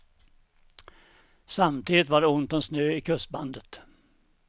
Samtidigt var det ont om snö i kustbandet.